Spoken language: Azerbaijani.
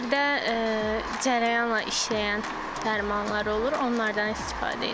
Birdə cərəyanla işləyən dərmanlar olur, onlardan istifadə edirik.